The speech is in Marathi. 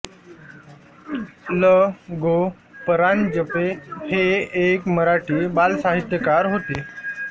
ल गो परांजपे हे एक मराठी बालसाहित्यकार होते